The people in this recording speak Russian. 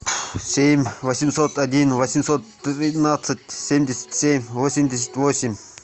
семь восемьсот один восемьсот тринадцать семьдесят семь восемьдесят восемь